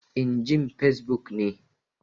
In jin Fesbuk ne.